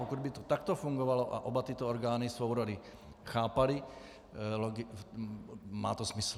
Pokud by to takto fungovalo a oba tyto orgány svou roli chápaly, má to smysl.